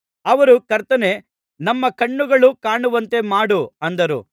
ಅವರು ಕರ್ತನೇ ನಮ್ಮ ಕಣ್ಣುಗಳು ಕಾಣುವಂತೆ ಮಾಡು ಅಂದರು